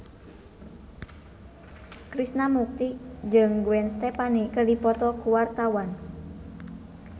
Krishna Mukti jeung Gwen Stefani keur dipoto ku wartawan